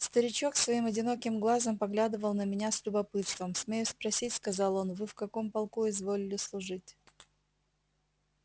старичок своим одиноким глазом поглядывал на меня с любопытством смею спросить сказал он вы в каком полку изволили служить